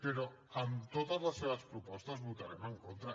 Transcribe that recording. però a totes les seves propostes hi votarem en contra